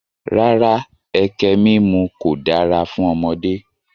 Rárá, ẹkẹ mímu kò dára fún ọmọdé